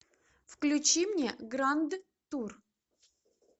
включи мне гранд тур